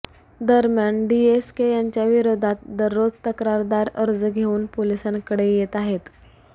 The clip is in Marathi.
दरम्यान डीएसके यांच्याविरोधात दररोज तक्रारदार अर्ज घेऊन पोलिसांकडे येत आहेत